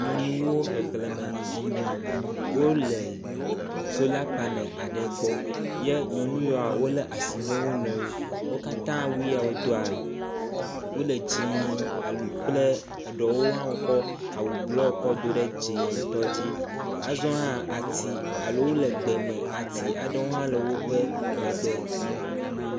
Nyɔnuwo xexlẽme enyi. Wole sola paneli aɖe gbɔ ye nyɔnu yeawo wolé asi ne wo nɔewo. Wo katã awu yea wodoa wole dzĩĩĩ kple aɖewo hã kɔ awu blɔ kɔ do ɖe dzĩŋtɔ dzi. Azɔ hã ati alo wole gbe me ati aɖewo hã le woƒe megbe.